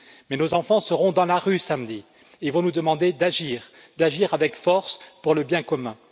Mais nos enfants seront dans la rue samedi et vont nous demander d'agir avec force pour le bien commun.